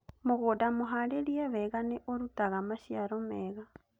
Mũgũnda mũharĩrie weega nĩ ũrutaga maciaro meega